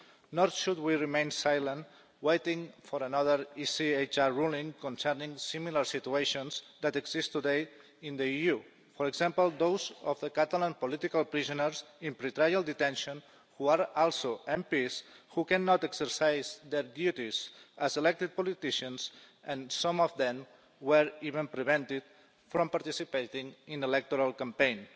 Nor should we remain silent waiting for another ECHR ruling concerning similar situations that exist today in the EU for example, those of the Catalan political prisoners in pre trial detention who are also MPs who cannot exercise their duties as elected politicians, and some of them were even prevented from participating in the electoral campaign.